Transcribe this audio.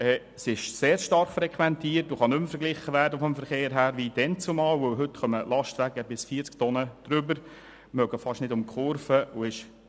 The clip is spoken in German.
Sie ist sehr stark frequentiert und kann in Bezug auf den Verkehr nicht mehr mit dazumal verglichen werden, weil heute Lastwagen bis zu 40 Tonnen über die Brücke fahren und fast nicht durch die Kurve hindurchfahren können.